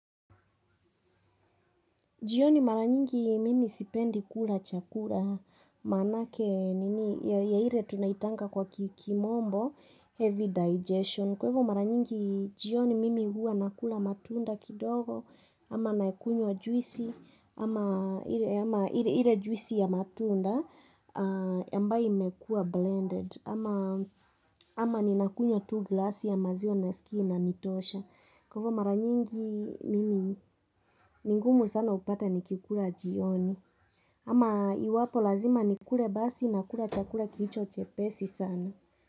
Jioni mara nyingi mimi sipendi kula chakula maanake nini ya ile tunaitanga kwa kimombo heavy digestion. Kwa hivyo mara nyingi jioni mimi huwa nakula matunda kidogo ama nakunywa juisi ama ile juisi ya matunda ambayo imekuwa blended ama ninakunywa tu glasi ya maziwa naskia inanitosha. Kwa hivyo mara nyingi mimi ni ngumu sana upate nikikula jioni ama iwapo lazima nikule basi nakula chakula kilicho chepesi sana.